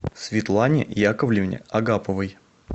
светлане яковлевне агаповой